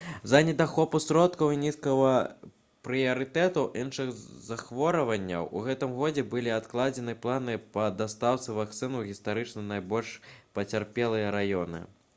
з-за недахопу сродкаў і нізкага прыярытэту іншых захворванняў у гэтым годзе былі адкладзены планы па дастаўцы вакцын у гістарычна найбольш пацярпелыя раёны